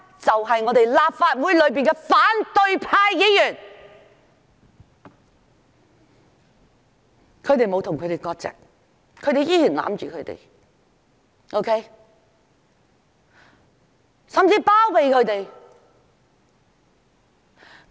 就是立法會的反對派議員，他們沒有與暴徒割席，仍然維護甚至包庇那些人。